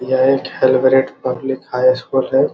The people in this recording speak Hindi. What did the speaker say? यह एक हेल ब्रेड पब्लिक हाई स्कुल है।